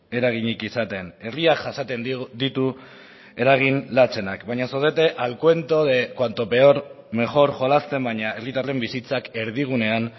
eraginik izaten herriak jasaten ditu eragin latzenak baina zaudete al cuento de cuanto peor mejor jolasten baina herritarren bizitzak erdigunean